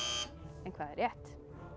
en hvað er rétt